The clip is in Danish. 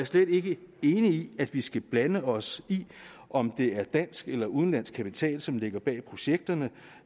slet ikke enig i at vi skal blande os i om det er dansk eller udenlandsk kapital som ligger bag de projekter